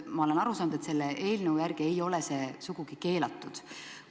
Ma olen aru saanud, et selle eelnõu järgi ei ole see sugugi keelatud.